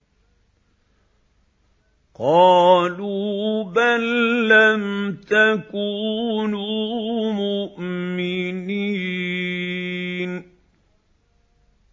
قَالُوا بَل لَّمْ تَكُونُوا مُؤْمِنِينَ